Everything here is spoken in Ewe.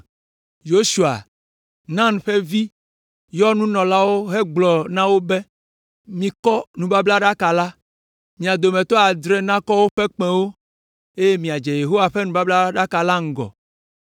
Yosua, Nun ƒe vi, yɔ nunɔlaawo hegblɔ na wo be, “Mikɔ nubablaɖaka la; mia dometɔ adre nakɔ woƒe kpẽwo, eye miadze Yehowa ƒe nubablaɖaka la ŋgɔ.”